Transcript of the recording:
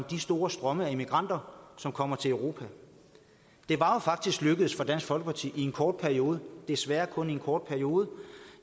de store strømme af immigranter som kommer til europa det var jo faktisk lykkedes for dansk folkeparti i en kort periode desværre kun en kort periode